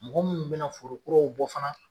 Mɔgɔ munnu bɛna foro kuraw bɔ fana